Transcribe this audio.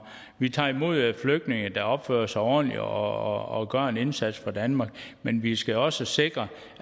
vi tager imod flygtninge der opfører sig ordentligt og gør en indsats for danmark men vi skal også sikre